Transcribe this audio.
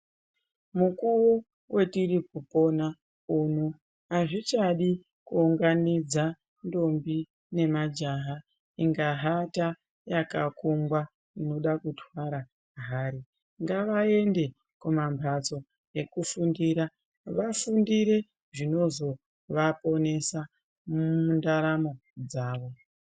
Mukuu wetiri kupona uno azvichadi kuunganidza ntombi nemajaha inga hata yakakungwa inoda kutwara hari, ngavaende kumambatso ekufundira vafundire zvinozovaponesa mundaramo dzavo.